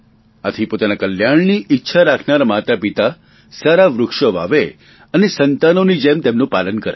આથી પોતાના કલ્યાણની ઇચ્છા રાખનારા માતાપિતા સારા વૃક્ષો વાવે અને સંતાનોની જેમ તેમનું પાલન કરે